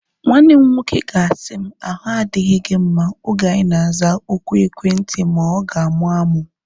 Nwanne m nwoke ga-asị m, ahu adịghị gị mma oge anyi na-aza oku ekwentị ma ọ ga-amụ amụ